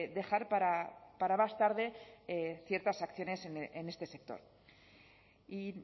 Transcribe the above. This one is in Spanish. dejar para más tarde ciertas acciones en este sector y